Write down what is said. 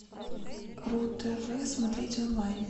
ру тв смотреть онлайн